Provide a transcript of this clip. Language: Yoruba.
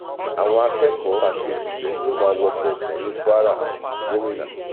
àwọn akẹkọọ àti òṣìṣẹ yóò máa wọkọ ọfẹ ní kwaragmina